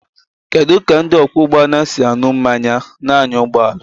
Kedu ka ndị ọkwọ ụgbọ ala si aṅụ mmanya na-anya ụgbọ ala?